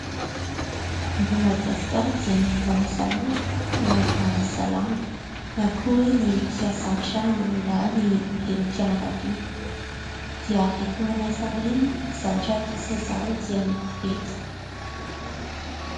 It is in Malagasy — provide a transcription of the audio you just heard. Eto Madagasikara dia ny mpanasa lamba no manasa lamba na koa hoe ny mpiasa an-trano na ny renim-pianakaviana dia rehefa manasa an'ireny dia ny zavatra ampiasain'izy ireo dia koveta.